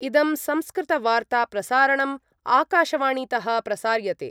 इदं संस्कृतवार्ताप्रसारणम् आकाशवाणीतः प्रसार्यते।